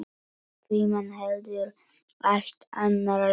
Frímann heldur allt annar læknir.